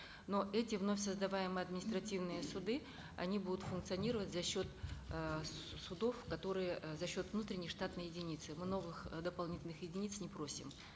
но эти вновь создаваемые административные суды они будут функционировать за счет э судов которые э за счет внутренней штатной единицы новых дополнительных единиц не просим